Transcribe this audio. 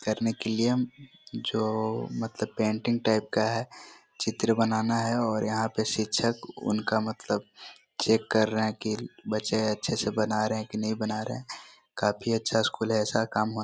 --करने के लिए जो मतलब पेंटिंग टाइप का है चित्र बनाना है और यहाँ पे शिक्षक उनका मतलब चेक कर रहे है की बच्चें अच्छे से बना रहे है की नहीं बना रहे है काफ़ी अच्छा स्कूल है ऐसा काम--